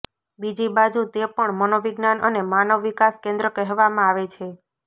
બીજી બાજુ તે પણ મનોવિજ્ઞાન અને માનવ વિકાસ કેન્દ્ર કહેવામાં આવે છે